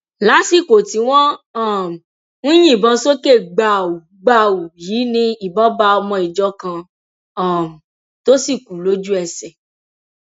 lásìkò tí wọn um ń yìnbọn sókè gbàù gbàù yìí ni ìbọn bá ọmọ ìjọ kan um tó sì kú lójúẹsẹ